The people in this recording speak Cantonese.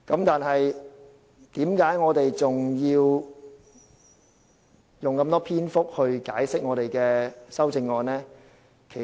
但是，為何我們還要用這麼多篇幅解釋我們的修正案呢？